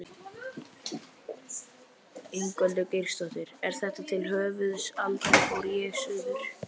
Ingveldur Geirsdóttir: Er þetta til höfuðs Aldrei fór ég suður?